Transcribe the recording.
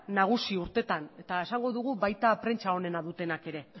nagusi urtetan eta esango dugu baita prentsa onenak dutenak ere